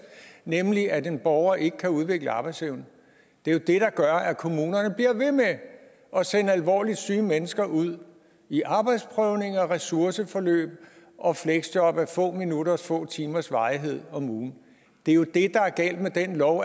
nemlig at en borger ikke kan udvikle arbejdsevne der gør at kommunerne bliver ved med at sende alvorligt syge mennesker ud i arbejdsprøvning og ressourceforløb og fleksjob af få minutters eller få timers varighed om ugen det er jo det der er galt med den lov